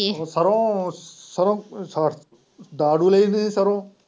ਸਰੋਂ ਸਰੋਂ ਡਾ ਡੂੰ ਲਈ ਤੁਹੀਂ ਸਰੋਂ।